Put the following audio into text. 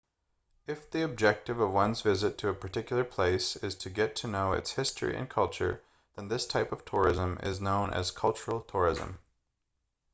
if the objective of one's visit to a particular place is to get to know its history and culture then this type of tourism is known as cultural tourism